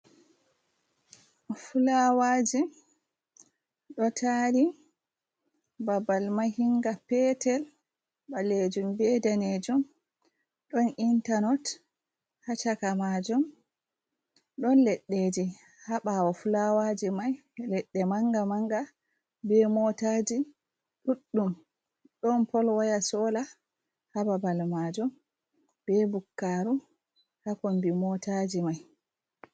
Fulawaji ɗo tari babal mahinga petel ɓalejum be danejum, ɗon intalok ha chaka majum, ɗon leɗɗeji ha ɓawo fulawaji mai, leɗɗe manga manga be motaji ɗuɗɗum, ɗon pol waya sola ha babal majum, be bukkaru ha kombi motaji mai.